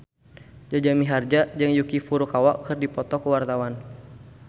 Jaja Mihardja jeung Yuki Furukawa keur dipoto ku wartawan